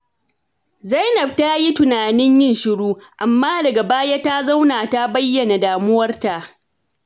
Zainab ta yi tunanin yin shiru, amma daga baya ta zauna ta bayyana damuwarta.